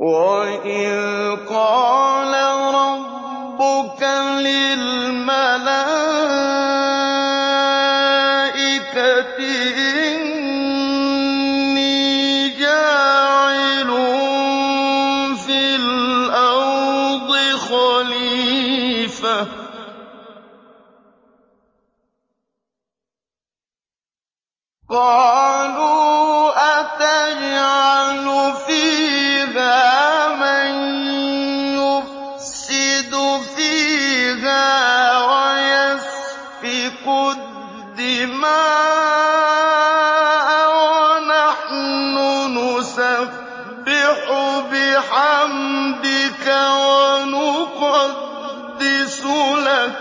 وَإِذْ قَالَ رَبُّكَ لِلْمَلَائِكَةِ إِنِّي جَاعِلٌ فِي الْأَرْضِ خَلِيفَةً ۖ قَالُوا أَتَجْعَلُ فِيهَا مَن يُفْسِدُ فِيهَا وَيَسْفِكُ الدِّمَاءَ وَنَحْنُ نُسَبِّحُ بِحَمْدِكَ وَنُقَدِّسُ لَكَ